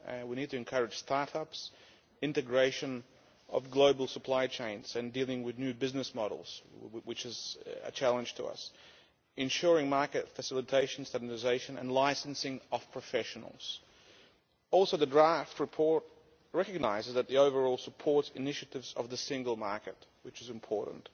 We need to encourage start ups, integration of global supply chains and dealing with new business models, which is a challenge to us, ensuring market facilitation and stabilisation, and licensing of professionals. Also, the draft report recognises the overall support initiatives of the single market, which is important.